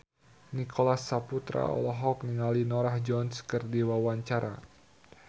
Nicholas Saputra olohok ningali Norah Jones keur diwawancara